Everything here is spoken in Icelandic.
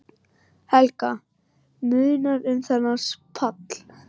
Helga: Munar um þennan pall?